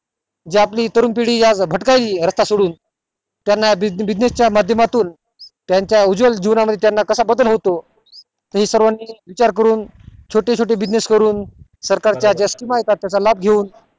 जी आपली तरुण पिढी या भटकायली रास्ता सोडून त्याना business च्या माध्यमातून त्यांच्या उज्वल जीवना मध्ये कसा बद्दल होतो हे सर्वानी विचार करून छोटे छोटे business करून सरकारच्या ज्या योजना त्याचा लाभ घेऊन